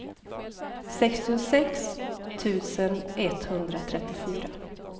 sextiosex tusen etthundratrettiofyra